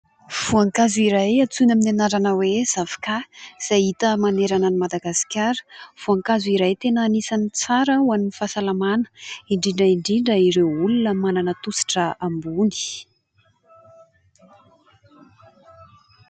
Voankazo iray antsoiny amin'ny anarana hoe zavoka izay hita manerana ny Madagasikara. Voankazo iray tena anisan'ny tsara ho an'ny fahasalamana indrindra indrindra ireo olona manana tosidra ambony.